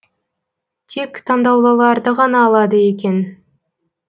тек таңдаулыларды ғана алады екен